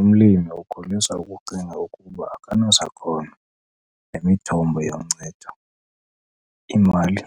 Umlimi ukholisa ukucinga ukuba akanasakhono nemithombo yoncedo, imali,